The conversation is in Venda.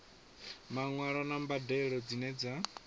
maṅwalo na mbadelo dzine dza